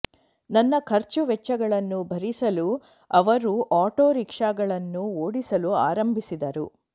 ನನ್ನ ಖರ್ಚು ವೆಚ್ಚಗಳನ್ನು ಭರಿಸಲು ಅವರು ಆಟೊ ರಿಕ್ಷಾಗಳನ್ನು ಓಡಿಸಲು ಆರಂಭಿಸಿದರು